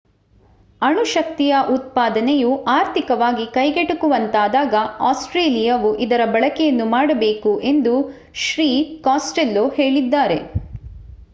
ಅಣು ಶಕ್ತಿಯ ಉತ್ಪಾದನೆಯು ಆರ್ಥಿಕವಾಗಿ ಕೈಗೆಟಕುವಂತಾದಾಗ ಆಸ್ಟ್ರೇಲಿಯಾವು ಇದರ ಬಳಕೆಯನ್ನು ಮಾಡಬೇಕು ಎಂದು ಶ್ರೀ ಕಾಸ್ಟೆಲ್ಲೋ ಹೇಳಿದ್ದಾರೆ